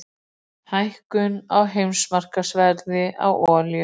Hækkun á heimsmarkaðsverði á olíu